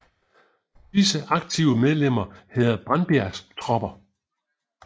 Disse aktive medlemmer hedder Brandbjergs Tropper